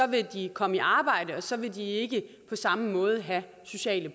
vil de komme i arbejde og så vil de ikke på samme måde have sociale